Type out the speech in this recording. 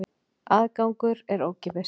Aðgangur er ókeypis.